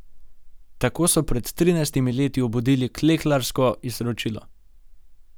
Tako so pred trinajstimi leti obudili klekljarsko izročilo.